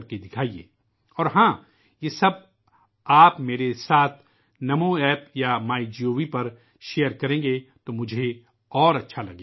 اور ہاں، میں چاہوں گا کہ آپ یہ سب میرے ساتھ نمو ایپ یا مائی گو پر ساجھا کریں